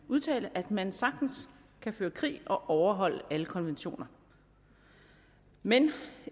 udtale at man sagtens kan føre krig og overholde alle konventioner men